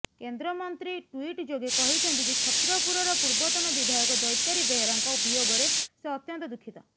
କେନ୍ଦ୍ରମନ୍ତ୍ରୀ ଟ୍ୱିଟ୍ ଯୋଗେ କହିଛନ୍ତି ଯେ ଛତ୍ରପୁରର ପୂର୍ବତନ ବିଧାୟକ ଦୈତାରୀ ବେହେରାଙ୍କ ବିୟୋଗରେ ସେ ଅତ୍ୟନ୍ତ ଦୁଃଖିତ